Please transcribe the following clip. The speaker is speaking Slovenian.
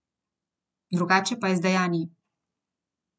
Drugače pa je z dejanji.